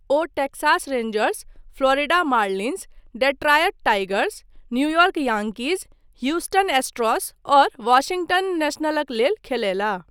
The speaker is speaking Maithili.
ओ Texas Rangers, Florida Marlins, Detroit Tigers, New York Yankees, Houston Astros और वाशिङ्गटन नेशनलक लेल खेलयलाह।